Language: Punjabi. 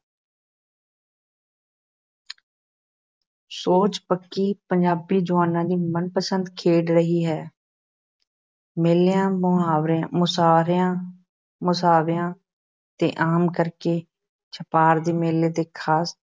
ਸੌਂਚੀ ਪੱਕੀ ਪੰਜਾਬੀ ਜੁਆਨਾਂ ਦੀ ਮਨਪਸੰਦ ਖੇਡ ਰਹੀ ਹੈ ਮੇਲਿਆਂ ਮੁਹਾਵਰਿਆਂ ਮੁਸਾਰਿਆਂ ਮੁਸਾਹਵਿਆਂ `ਤੇ ਆਮ ਕਰਕੇ ਅਤੇ ਛਪਾਰ ਦੇ ਮੇਲੇ ਤੇ ਖ਼ਾਸ